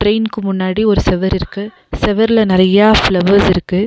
ட்ரெயின்க்கு முன்னாடி ஒரு செவுர் இருக்கு செவுர்ல நெறையா ஃப்ளவர்ஸ் இருக்கு.